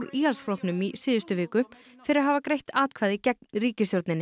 Íhaldsflokknum í síðustu viku fyrir að hafa greitt atkvæði gegn ríkisstjórninni